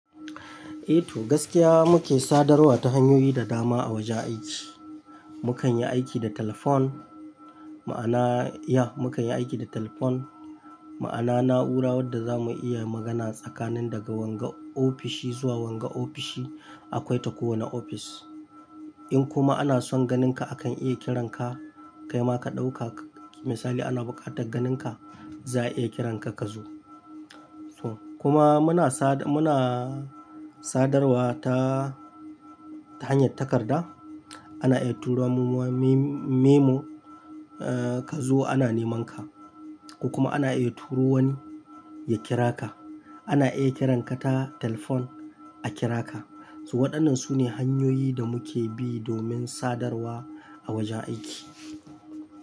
Eh to gaskiya muke sadarwa ta hanyoyi da dama a wajen aiki. Mukan yi aiki da telefon, ma'ana, yeah, mukan yi aiki da telefon. Ma'ana na'ura wadda zamu iya magana tsakanin daga wanga ofishi zuwa wanga ofishi akwai ta kowane ofis. In kuma ana son ganinka akan iya kiran ka, kaima ka ɗauka misali ana buƙatar ganinka za a iya kiran ka ka zo. To kuma muna sada- muna sadarwa ta, ta hanyar takarda. Ana iya turo memo, eh ka zo ana neman ka. Ko kuma ana iya turo wani ya kira ka. Ana iya kiran ka ta telefon a kira ka. To waɗannan sune hanyoyi da muke bi domin sadarwa a wajen aiki.